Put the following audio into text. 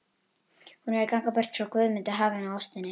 Hún er að ganga burt frá Guðmundi, hafinu og ástinni.